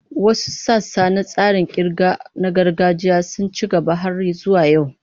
Wasu sassa na tsarin ƙirga na gargajiya sun ci gaba har zuwa yau.